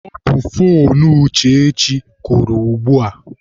Ọ bụ foonu Uchechi kụrụ ugbua